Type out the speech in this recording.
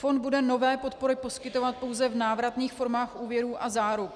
Fond bude nové podpory poskytovat pouze v návratných formách úvěrů a záruk.